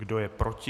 Kdo je proti?